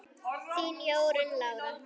Þín Jórunn Lára.